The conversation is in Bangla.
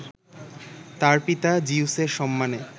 তার পিতা জিউসের সম্মানে